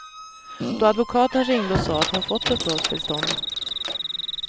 Då advokaten ringde och sa att hon fått uppehållstillstånd.